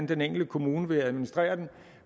den enkelte kommune vil administrere det